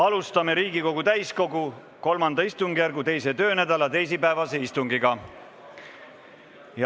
Alustame Riigikogu täiskogu III istungjärgu 2. töönädala teisipäevast istungit.